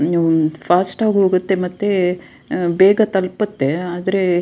ನೀವು ಒಂದ್ ಫಾಸ್ಟ್ ಆಗ್ ಹೋಗುತ್ತೆ ಮತ್ತೆ ಬೇಗ ತಲ್ಪುತ್ತೆ ಆದ್ರೆ --